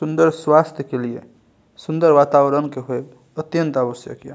सुंदर स्वास्थ्य के लिए सुंदर वातावरण के हैव अत्यंत आवश्यक ये।